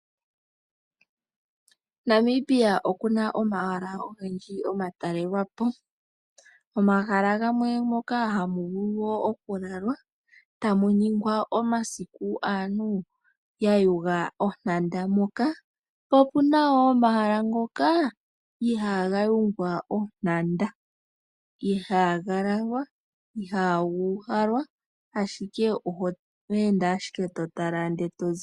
Namibia okuna omahala ogendji omatalelwapo. Omahala gamwe ngoka hamuvulu okulalwa tamuningwa omasiku aantu yayuga ontanda moka. Po opuna wo omahala ngoka ihaaga yungwa ontanda, ihaaga lalwa, ihaa guuhalwa ashike oto ende totala ndele tozipo.